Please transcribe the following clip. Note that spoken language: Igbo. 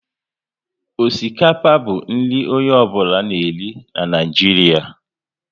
Osikapa bụ nri onye ọ bụla na eri na Naịjiria